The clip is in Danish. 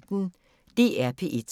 DR P1